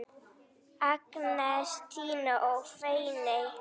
Agnes, Tinna og Fanney.